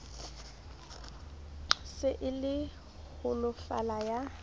se e le holofala ya